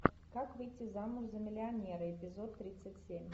как выйти замуж за миллионера эпизод тридцать семь